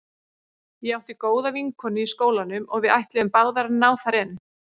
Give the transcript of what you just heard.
Ég átti góða vinkonu í skólanum og við ætluðum báðar að ná þar inn.